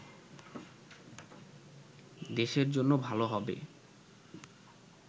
দেশের জন্য ভালো হবে